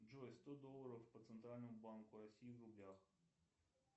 джой сто долларов по центральному банку россии в рублях